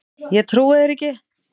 Ég trúi þér ekki!